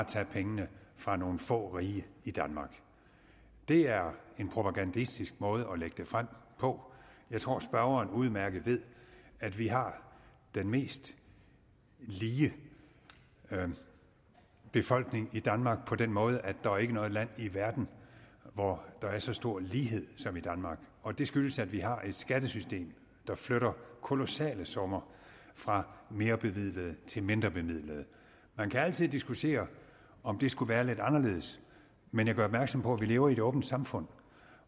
tage pengene fra nogle få rige i danmark det er en propagandistisk måde at lægge det frem på jeg tror at spørgeren udmærket ved at vi har den mest lige befolkning i danmark på den måde at der ikke er noget land i verden hvor der er så stor lighed som i danmark og det skyldes at vi har et skattesystem der flytter kolossale summer fra merebemidlede til mindrebemidlede man kan altid diskutere om det skulle være lidt anderledes men jeg gør opmærksom på at vi lever i et åbent samfund